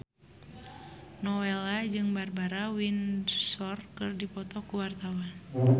Nowela jeung Barbara Windsor keur dipoto ku wartawan